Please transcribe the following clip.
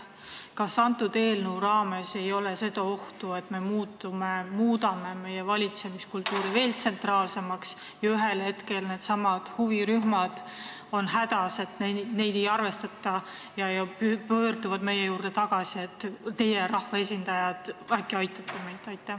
Kas selle eelnõu puhul ei ole ohtu, et me muudame valitsemise veel tsentraalsemaks ja ühel hetkel on need huvirühmad hädas, et neid ei arvestata, ja pöörduvad meie poole palvega, et teie, rahvaesindajad, äkki aitate meid?